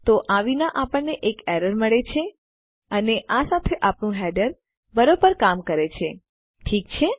તો આ વિના આપણને એક એરર મળે છે અને આ સાથે આપણું હેડર બરોબર કામ કરે છે ઠીક છે